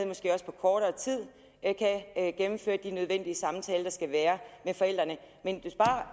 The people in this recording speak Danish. måske også på kortere tid gennemføre de nødvendige samtaler der skal være med forældrene men